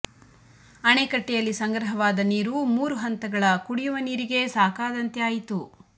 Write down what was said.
ಅಣೆಕಟ್ಟೆಯಲ್ಲಿ ಸಂಗ್ರಹವಾದ ನೀರು ಮೂರು ಹಂತಗಳ ಕುಡಿಯುವ ನೀರಿಗೇ ಸಾಕಾದಂತೆ ಆಯಿತು